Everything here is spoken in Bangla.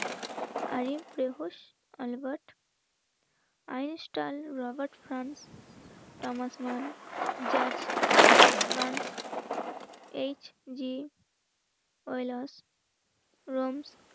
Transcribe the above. আর এই প্রেহস আলবাত রবার্ট খান, তামাসমান জাজ গানস, এইচ জি, কৈলাস, রমস, রোলা, প্রমুখ,